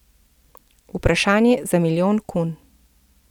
Vprašanje za milijon kun.